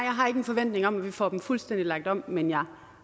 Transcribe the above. har ikke en forventning om at vi får den fuldstændig lagt om men jeg